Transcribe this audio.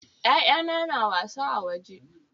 Ya'yana na wasa a waje.